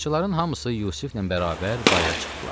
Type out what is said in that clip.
Qaraçıların hamısı Yusiflə bərabər bayıra çıxdılar.